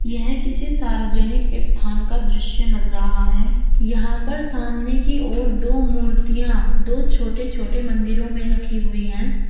यह किसी सार्वजनिक स्थान का दृश्य लग रहा है यहां पर सामने की ओर दो मूर्तियां दो छोटे छोटे मंदिरों में रखी हुई है।